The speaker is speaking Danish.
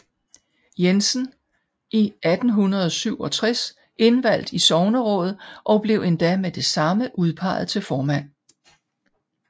Jensen i 1867 indvalgt i sognerådet og blev endda med det samme udpeget til formand